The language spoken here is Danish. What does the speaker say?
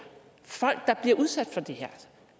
folk bliver udsat for det her